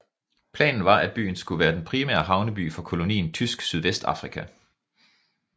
Planen var at byen skulle være den primære havneby for kolonien Tysk Sydvestafrika